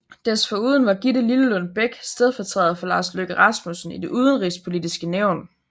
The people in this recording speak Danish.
Desforuden var Gitte Lillelund Bech stedfortræder for Lars Løkke Rasmussen i Det Udenrigspolitiske Nævn